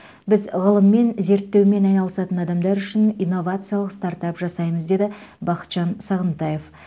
біз ғылыммен зерттеумен айналысатын адамдар үшін инновациялық стартап жасаймыз деді бақытжан сағынтаев